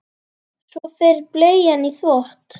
Svo fer bleian í þvott.